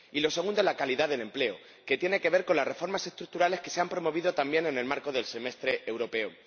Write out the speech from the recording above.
Y lo segundo, la calidad del empleo, tiene que ver con las reformas estructurales que se han promovido también en el marco del Semestre Europeo.